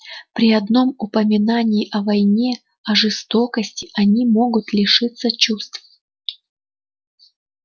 при одном упоминании о войне о жестокости они могут лишиться чувств